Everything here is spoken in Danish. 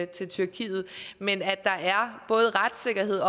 til tyrkiet men at der både er retssikkerhed